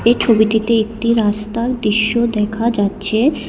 এই ছবিটিতে একটি রাস্তার দৃশ্য দেখা যাচ্চে।